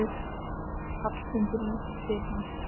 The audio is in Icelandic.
Hallmundur lítur til hans.